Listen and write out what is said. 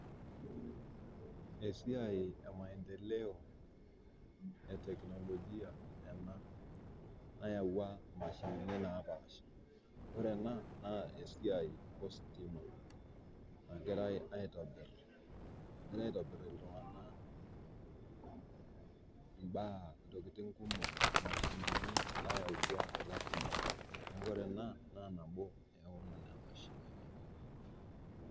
Esiai emaendeleo eteknologia ena. nayaua mashinini naapasha .ore ena naa esiai ositima nagirae aitobir, egira aitobir iltunganak imbaa, ntokiting kumok mashinini nayau tua ilashumba neeku ore ena naa nabo onena mashinini.